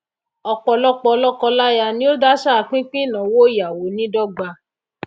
òpòlopò lókọ láyà ni o dásà pín pín ìnáwó ìyàwó ní dogba